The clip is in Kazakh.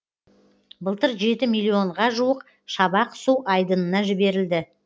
былтыр жеті миллионға жуық шабақ су айдынына жіберілді